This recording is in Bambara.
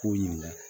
K'o ɲininka